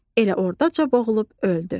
Elə ordaca boğulub öldü.